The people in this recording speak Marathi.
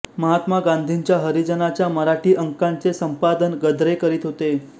महात्मा गांधींच्या हरिजनच्या मराठी अंकांचे संपादन गद्रे करीत होते